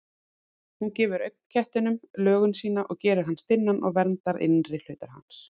Hún gefur augnknettinum lögun sína, gerir hann stinnan og verndar innri hluta hans.